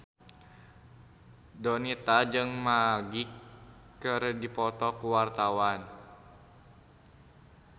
Donita jeung Magic keur dipoto ku wartawan